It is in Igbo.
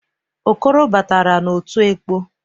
Okoro batara n'otu ekpọ.